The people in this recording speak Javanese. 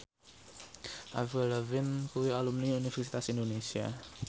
Avril Lavigne kuwi alumni Universitas Indonesia